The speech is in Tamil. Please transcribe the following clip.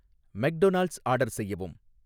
மெக்டொனால்ட்ஸ் ஆர்டர் செய்யவும்